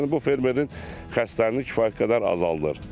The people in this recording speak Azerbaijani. Yəni bu fermerin xərclərini kifayət qədər azaldır.